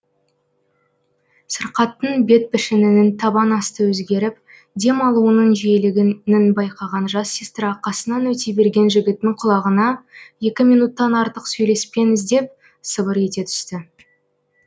сырқаттың бет пішінінің табан асты өзгеріп дем алуының жиілігінін байқаған жас сестра қасынан өте берген жігіттің құлағына екі минуттан артық сөйлеспеңіз деп сыбыр ете түсті